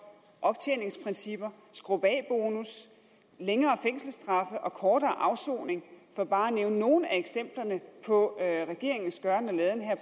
optjeningsprincipper skrup af bonus længere fængselsstraffe og kortere afsoning for bare nævne nogle af eksemplerne på regeringens gøren